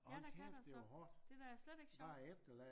Ja der kan da så det da slet ikke sjovt